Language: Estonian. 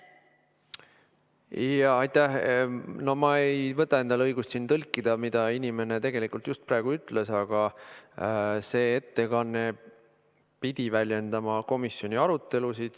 No ma ei võta endale õigust tõlkida, mida inimene tegelikult just praegu ütles, aga see ettekanne pidi väljendama komisjoni arutelusid.